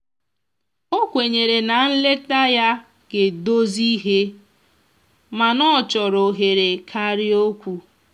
o kwenyere na nleta ya ga edozi ihe mana ọchọrọ ohere karịa okwụ